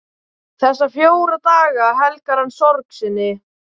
Þessa fjóra daga helgar hann sorg sinni.